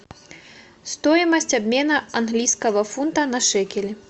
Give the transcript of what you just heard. стоимость обмена английского фунта на шекели